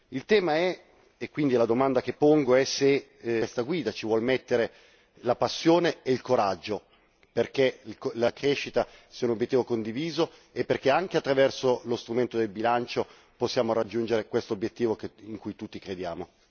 Il tema è e quindi la domanda che pongo è se questa guida ci vuole mettere la passione e il coraggio, perché la crescita, se un obiettivo è condiviso, è perché anche attraverso lo strumento del bilancio che possiamo raggiungere questo obiettivo in cui tutti crediamo.